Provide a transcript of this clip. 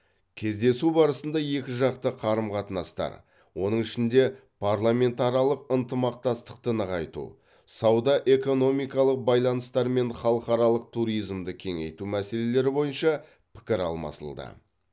кездесу барысында екіжақты қарым қатынастар оның ішінде парламентаралық ынтымақтастықты нығайту сауда экономикалық байланыстар мен халықаралық туризмді кеңейту мәселелері бойынша пікір алмасылды